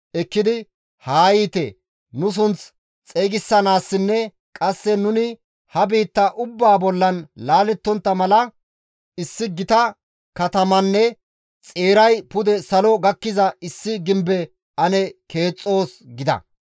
ekkidi, «Haa yiite! Nu sunth xeygisanaassinne qasse nuni ha biitta ubbaa bollan laalettontta mala issi gita katamanne xeeray pude salo gakkiza issi gimbe ane keexxoos» gida.